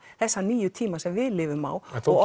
þessa nýju tíma sem við lifum á en þó